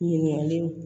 Ɲininkali